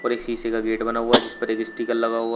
और एक शीशे का गेट बना हुआ जिस पर एक स्टीकर लगा हुआ --